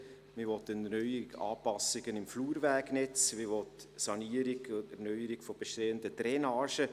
Man will Erneuerungen, Anpassungen im Flurwegnetz, man will die Sanierung und Erneuerung von bestehenden Drainagen.